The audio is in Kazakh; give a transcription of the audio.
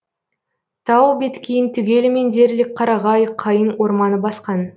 тау беткейін түгелімен дерлік қарағай қайың орманы басқан